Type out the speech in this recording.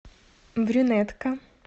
брюнетка